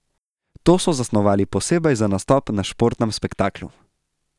To so zasnovali posebej za nastop na športnem spektaklu.